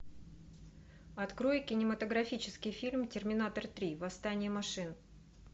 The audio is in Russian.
открой кинематографический фильм терминатор три восстание машин